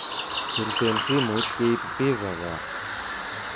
Briten simoit keib pizza kaa